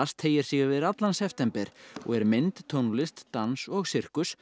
teygir sig yfir allan september og er mynd tónlist dans og sirkus